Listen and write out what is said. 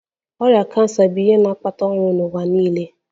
Ọrịa kansa bụ ihe na-akpata ọnwụ n'ụwa niile.